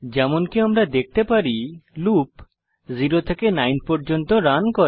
যেমনকি আমরা দেখতে পারি লুপ 0 থেকে 9 পর্যন্ত রান করে